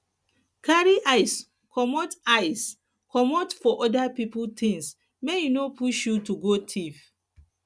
carry eyes comot eyes comot for oda pipo things make e no push you to go thief